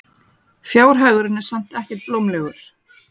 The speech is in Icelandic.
Fjárhagurinn er samt ekkert blómlegur.